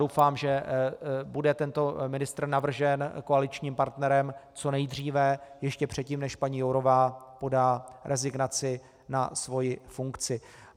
Doufám, že bude tento ministr navržen koaličním partnerem co nejdříve, ještě předtím, než paní Jourová podá rezignaci na svoji funkci.